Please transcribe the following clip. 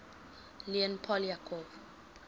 leon poliakov